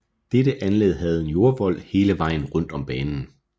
Dette anlæg havde en jordvold hele vejen rundet om banen